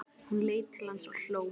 Hún leit til hans og hló.